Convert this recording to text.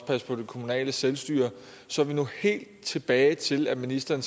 passe på det kommunale selvstyre så er vi nu helt tilbage til at ministeren